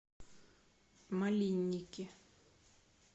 малинники